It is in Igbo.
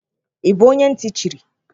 Ị́ bụ onye ntị chiri?